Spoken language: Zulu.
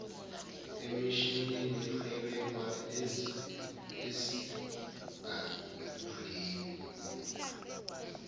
emishinini ebekwa esigangeni